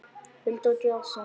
Hulda og Jason.